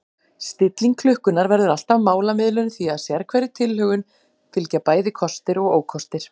Stilling klukkunnar verður alltaf málamiðlun því að sérhverri tilhögun fylgja bæði kostir og ókostir.